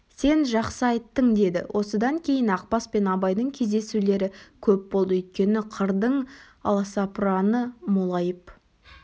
сен жақсы айттың деді осыдан кейін ақбас пен абайдың кездесулері көп болды өйткені қырдың аласапыраны молайып